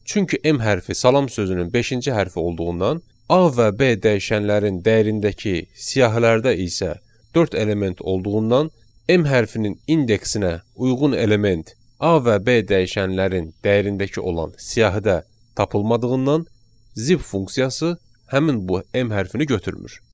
Çünki M hərfi salam sözünün beşinci hərfi olduğundan, A və B dəyişənlərin dəyərindəki siyahılarda isə dörd element olduğundan, M hərfinin indeksinə uyğun element A və B dəyişənlərin dəyərindəki olan siyahıda tapılmadığından, zip funksiyası həmin bu M hərfini götürmür.